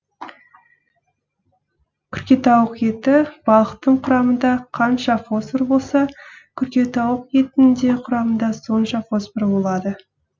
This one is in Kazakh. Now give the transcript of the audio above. күркетауық еті балықтың құрамында қанша фосфор болса күркетауық етінің де құрамында сонша фосфор болады